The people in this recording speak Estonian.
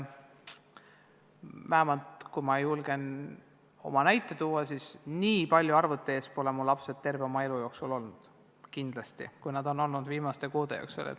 Vähemalt oma pere näitel võin küll öelda, et mu lapsed pole terve oma elu olnud nii palju arvuti ees, kui nad on olnud viimaste kuude jooksul.